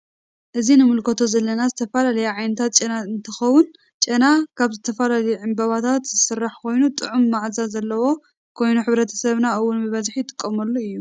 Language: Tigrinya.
እዚ እንምልከቶ ዘለና ዝተፈላለዩ ዓይነታት ጨና እንትከውን ጨና ካብ ዝተፈላለዩ ዕባባታት ዝስራሕ ኮይኑ ጥዕሙ ማአዛ ዘለዎ ኮይኑ ሕብረተሰብና እውን ብበዝሒ ይጥቀመሉ እዩ።